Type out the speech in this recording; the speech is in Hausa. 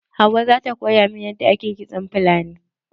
Hauwau za ta koya min yadda ake kitson fulani.